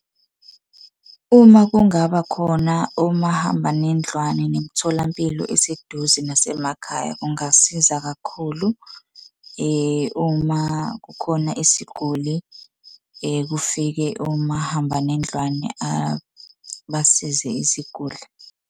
Uma kungaba khona omahambanendlwane nemitholampilo eseduze nasemakhaya kungasiza kakhulu, uma kukhona isiguli kufike omahambanendlwane basize iziguli.